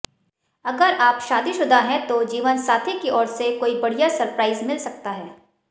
अगर आप शादीशुदा हैं तो जीवनसाथी की ओर से कोई बढ़िया सरप्राइज मिल सकता है